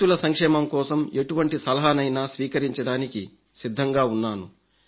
రైతుల సంక్షేమం కోసం ఎటువంటి సలహానైనా స్వీకరించడానికి సిద్ధంగా ఉన్నాను